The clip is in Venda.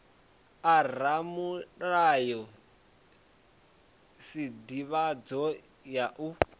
a ramulayo sdivhadzo ya u